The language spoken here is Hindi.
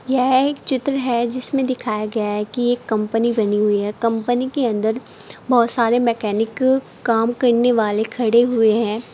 यह एक चित्र है जिसमें दिखाया गया है कि यह एक कंपनी बनी हुई है कंपनी के अंदर बहुत सारे मैकेनिक काम करने वाले खड़े हुए हैं।